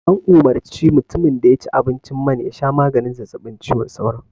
An umarci mutimin da ya ci abinci man ya sha maganin zazzabin cizon sauron